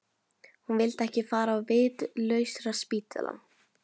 Hún vildi ekki fara á vitlausraspítalann.